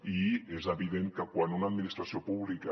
i és evident que quan una administració pública